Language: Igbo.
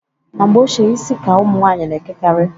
Na mgbe ochie isi ka ụmụnwanyị na-ekekarị.